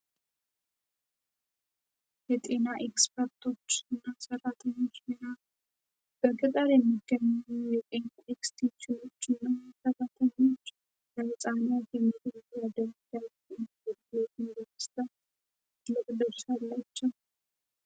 የጤና ኤክስፐርቶች እና ስራተኞች ሚና በቅጠር የሚገኙ የኤክስቴንሽን የነ ተረተኞች ለህፃሚያ ሜቶ ያደርጃየዩኒበርስተ ትልቅ ድርሻ አላቸው።